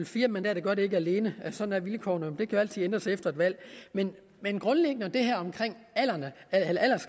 fire mandater gør det ikke alene sådan er vilkårene det kan altid ændres efter et valg men grundlæggende er